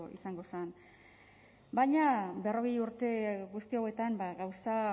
izango zen baina berrogei urte guzti hauetan gauza